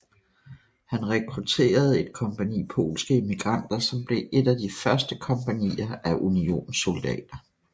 Han rekrutterede et kompagni polske immigranter som blev et af de første kompagnier af Unionssoldater